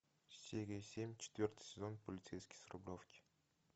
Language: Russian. серия семь четвертый сезон полицейский с рублевки